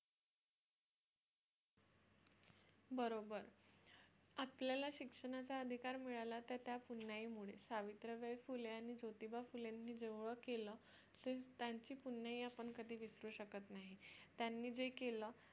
बरोबर आपल्याला शिक्षणाचा अधिकार मिळाला तर त्या पुण्याईमुळे सावित्रीबाई फुले आणि ज्योतिबा फुले यांनी जेवढे केलं ते त्यांची पुण्याई आपण कधी विसरू शकत नाही त्यांनी जे केले